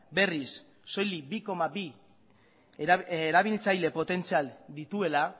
berriz soilik bi koma bi erabiltzaile potentzial dituela